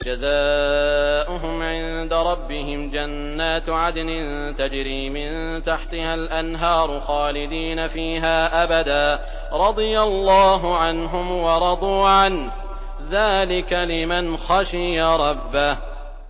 جَزَاؤُهُمْ عِندَ رَبِّهِمْ جَنَّاتُ عَدْنٍ تَجْرِي مِن تَحْتِهَا الْأَنْهَارُ خَالِدِينَ فِيهَا أَبَدًا ۖ رَّضِيَ اللَّهُ عَنْهُمْ وَرَضُوا عَنْهُ ۚ ذَٰلِكَ لِمَنْ خَشِيَ رَبَّهُ